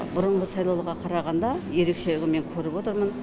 бұрынғы сайлауға қарағанда ерекшелігін мен көріп отырмын